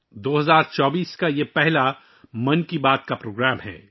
یہ 2024 کا پہلا 'من کی بات' پروگرام ہے